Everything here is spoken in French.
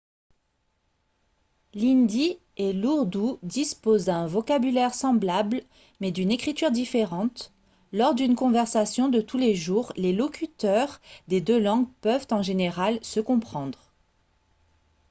l'hindi et l'ourdou disposent d'un vocabulaire semblable mais d'une écriture différente lors d'une conversation de tous les jours les locuteurs des deux langues peuvent en général se comprendre